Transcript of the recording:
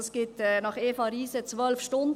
Dies ergibt nach Eva Riese 12 Stunden: